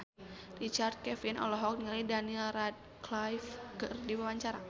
Richard Kevin olohok ningali Daniel Radcliffe keur diwawancara